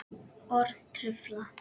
Orð trufla.